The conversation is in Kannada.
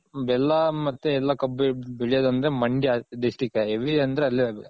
ಬೆಲ್ಲ ಮತ್ತೆ ಎಲ್ಲ ಕಬ್ಬ್ ಬೆಳೆಯೋದ್ ಅಂದ್ರೆ ಮಂಡ್ಯ District ಹೆವಿ ಅಂದ್ರೆ ಅಲ್ಲೇ ಅದು.